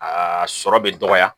Aa sɔrɔ bɛ dɔgɔya